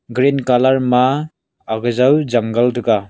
green colour ma ag jau jungle thaga.